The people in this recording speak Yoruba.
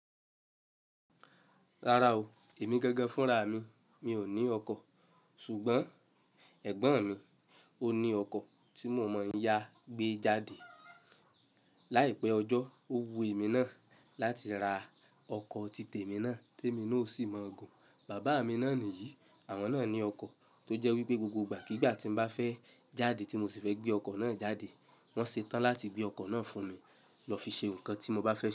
Rárá o, èmi gangan fúnra mi mi ò ní ọkọ̀. Ṣùgbọ́n ẹ̀gbọ́n mi o ní ọkọ̀ tí mo mọ n yá gbé jáde. Láìpẹ́ ọjọ́, ó wu èmi náà láti ra ọkọ̀ tí témi náà, témi náà o sì mọ̀ gùn. Bàbá mi náà nìyí. Àwọn náà ní ọkọ̀ tó jẹ́ wípé gbogbo ìgbà kígbà tí n bá fẹ́ jáde tí mo sì fẹ́ gbé ọkọ̀ náà jáde. Wọn ṣetán láti gbé ọkọ̀ náà fún mi lọ fi ṣe nǹkan tí mo bá fẹ́ ṣe.